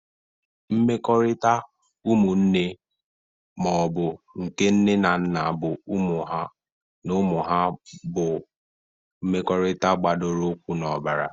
Mmekọrịta umụnne ma ọ bụ nke nne na nna na ụmụ ha bụ mmekọrịta gbadoro ụkwụ n'ọbara.